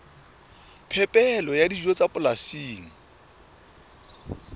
phepelo ya dijo tsa polasing